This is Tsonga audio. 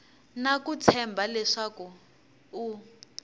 na ku tshemba leswaku u